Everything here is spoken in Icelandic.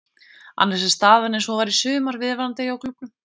Annars er staðan eins og hún var í sumar viðvarandi hjá klúbbnum.